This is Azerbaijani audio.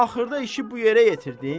Axırda işi bu yerə yetirdin?